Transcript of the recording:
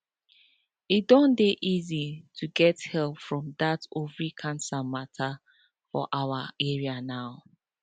e don dey easy to get help for that ovary cancer matter for our area now